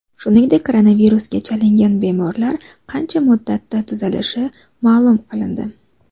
Shuningdek, koronavirusga chalingan bemorlar qancha muddatda tuzalishi ma’lum qilindi .